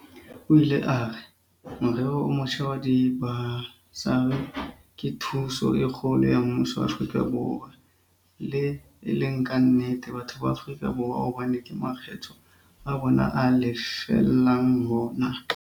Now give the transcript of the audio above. O ile a re, "Morero o motjha wa dibasari ke thuso e kgolo ya mmuso wa Afrika Borwa le, e le ka nnete, batho ba Afrika Borwa hobane ke makgetho a bona a lefellang hona".